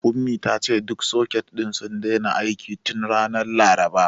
Ummi ta ce duk soket ɗin sun daina aiki tun ranar Laraba.